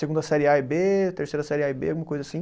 Segunda série A e Bê, terceira série A e Bê, alguma coisa assim.